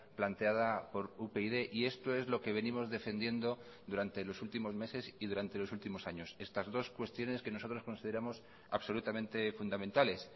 planteada por upyd y esto es lo que venimos defendiendo durante los últimos meses y durante los últimos años estas dos cuestiones que nosotros consideramos absolutamente fundamentales